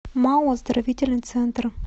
мау оздоровительный центр